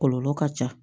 Kɔlɔlɔ ka ca